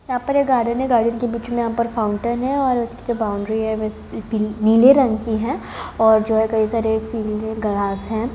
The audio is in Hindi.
यहाँ पे ये गार्डन है गार्डन में बीच में यहाँ पर फाउंटेन है और इस की जो बाउंड्री है वैसे पी नीले रंग की है और जो है कई सारे पीले ग्रास है।